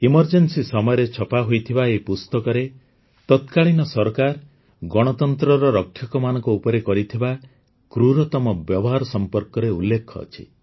emergency ସମୟରେ ଛପାହୋଇଥିବା ଏହି ପୁସ୍ତକରେ ତତ୍କାଳୀନ ସରକାର ଗଣତନ୍ତ୍ରର ରକ୍ଷକମାନଙ୍କ ଉପରେ କରିଥିବା କ୍ରୂରତମ ବ୍ୟବହାର ସମ୍ପର୍କରେ ଉଲ୍ଲେଖ ଅଛି